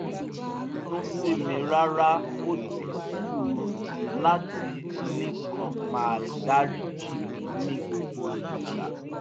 kò bínú sí mi rárá ó ti sú u láti nìkan máa dáríjì mí ní gbogbo ìgbà